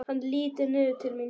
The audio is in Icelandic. Hann lítur niður til mín.